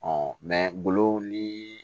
ni